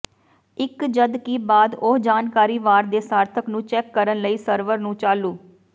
ਇੱਕ ਜਦਕਿ ਬਾਅਦ ਉਹ ਜਾਣਕਾਰੀ ਵਾਰ ਦੇ ਸਾਰਥਕ ਨੂੰ ਚੈੱਕ ਕਰਨ ਲਈ ਸਰਵਰ ਨੂੰ ਚਾਲੂ